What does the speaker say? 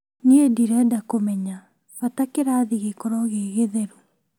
Niĩ ndirenda kũmenya bata kĩrathi gĩkorwo gĩgĩtheru